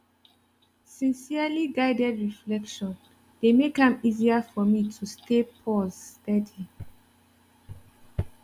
sincerely guided reflection dey make am easier for me to stay pause steady